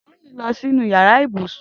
Toyin n lọ sinú iyàrá ibúsún